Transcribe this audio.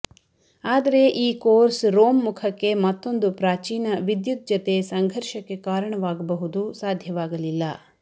ಆದರೆ ಈ course Rome ಮುಖಕ್ಕೆ ಮತ್ತೊಂದು ಪ್ರಾಚೀನ ವಿದ್ಯುತ್ ಜತೆ ಸಂಘರ್ಷಕ್ಕೆ ಕಾರಣವಾಗಬಹುದು ಸಾಧ್ಯವಾಗಲಿಲ್ಲ